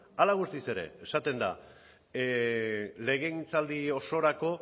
hala eta guztiz ere esaten da legegintzaldi osorako